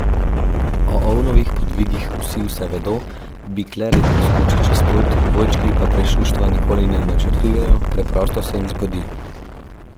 O ovnovih podvigih vsi vse vedo, bik le redko skoči čez plot, dvojčki pa prešuštva nikoli ne načrtujejo, preprosto se jim zgodi.